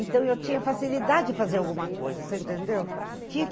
Então, eu tinha facilidade de fazer alguma coisa, você entendeu?